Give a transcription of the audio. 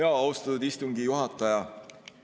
Austatud istungi juhataja!